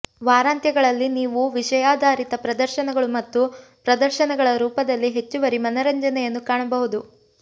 ವಾರಾಂತ್ಯಗಳಲ್ಲಿ ನೀವು ವಿಷಯಾಧಾರಿತ ಪ್ರದರ್ಶನಗಳು ಮತ್ತು ಪ್ರದರ್ಶನಗಳ ರೂಪದಲ್ಲಿ ಹೆಚ್ಚುವರಿ ಮನರಂಜನೆಯನ್ನು ಕಾಣಬಹುದು